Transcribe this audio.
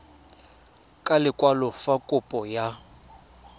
ka lekwalo fa kopo ya